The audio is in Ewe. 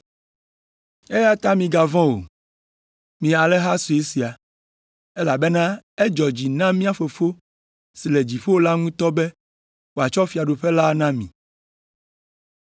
Eya ta migavɔ̃ o, mi alẽha sue sia, elabena edzɔ dzi na mia Fofo si le dziƒo la ŋutɔ be wòatsɔ fiaɖuƒe la na mi.